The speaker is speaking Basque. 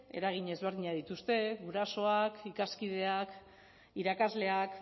eragin ezberdinak dituzte gurasoak ikaskideak irakasleak